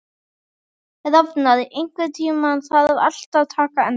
Rafnar, einhvern tímann þarf allt að taka enda.